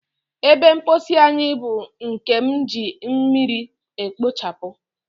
Ebe mposi anyi bu nkem eji mmiri ekpochabu.